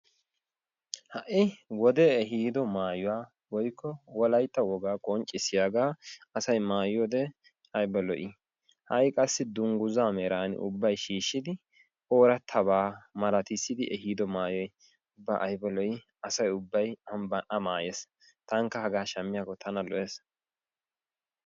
Ha'i wode ehiiddo maayuwa wolaytta wogaa qonccissiyagaa asay mayiyode ayba lo"i ha'i qassi dungguzza meran ubbay shiishshidi oorattabaa malattissidi ehiiddo maayoy asaa ubbay a maayees taanikka hagaa shammiyakko tana lo'ees.